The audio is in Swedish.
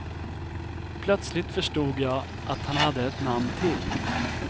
Plötsligt förstod jag att han hade ett namn till.